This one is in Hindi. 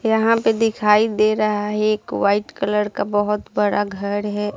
यहाँ पे दिखाई दे रहा है एक वाइट कलर का बहोत बड़ा घर है ।